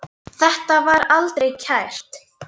Þetta var aldrei kært.